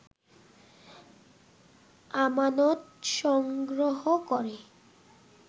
আমানত সংগ্রহ করে